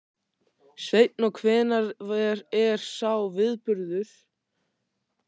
Sveinn: Og hvenær er sá viðburður?